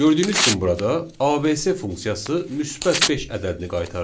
Gördüyünüz kimi burada ABC funksiyası müsbət 5 ədədini qaytardı.